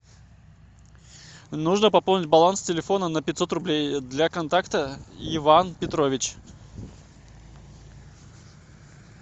нужно пополнить баланс телефона на пятьсот рублей для контакта иван петрович